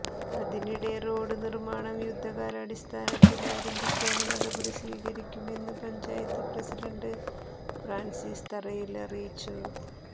അതിനിടെ റോഡ് നിര്മ്മാണം യുദ്ധകാലടിസ്ഥാനത്തില് ആരംഭിക്കാന് നടപടി സ്വീകരിക്കുമെന്ന് പഞ്ചായത്ത് പ്രസിഡന്റ് ഫ്രാന്സിസ് തറയില് അറിയിച്ചു